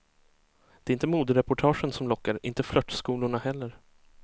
Det är inte modereportagen som lockar, inte flörtskolorna heller.